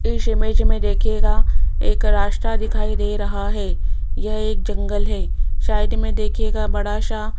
इस इमेज में देखिएगा एक रास्ता दिखाई दे रहा है यह एक जंगल है साइड में देखिएगा बड़ा सा--